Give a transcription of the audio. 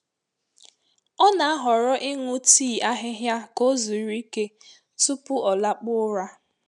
Ọ na-ahọrọ ịṅụ tii ahịhịa ka ọ zuru ike tupu ọ lakpuo ụra.